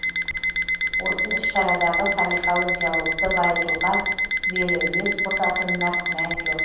осы іс шарадағы салиқалы диалогты байытуға сүбелі үлес қосатынына күмән жоқ